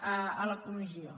a la comissió